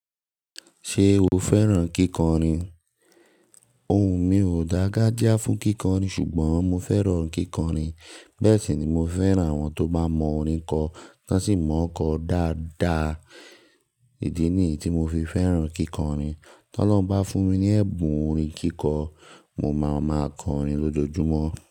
Ṣé o fẹ́ràn kíkọrin? Ohùn mi ò dágájá fún kíkọrin ṣùgbọ́n mo fẹ́ràn kíkọrin. Bẹ́ẹ̀ sì ni mo fẹ́ràn àwọn tó bá mọ orin kọ, wọ́n sì mọ ọ́ kọ dáadáa. Ìdí nìyí tí mo fi fẹ́ràn kíkọrin. Tọ́lọ́hun bá fún mi ní ẹ̀bùn orin kíkọ, mo máa ma kọrin lójoojúmọ́.